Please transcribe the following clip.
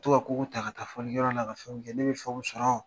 To ka kogo ta ka taa fɔli yɔrɔ la, ka fɛnw kɛ. Ne bi fɛnw sɔrɔ.